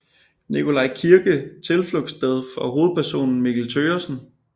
Nikolaj kirke tilflugtssted for hovedpersonen Mikkel Thøgersen